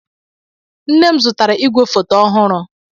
Nne m zụtara igwefoto ọhụrụ.